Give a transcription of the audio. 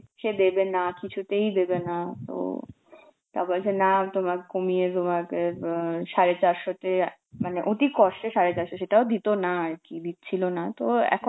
সে দেবে না কিছুতেই দেবে না, তো তা বলছে না তোমার কমিয়ে তোমাকে অ্যাঁ সাড়ে চারশোটে মানে অতি কষ্টে সাড়ে চারশো, সেটাও দিত না আর কি, দিচ্ছিল না তো এখন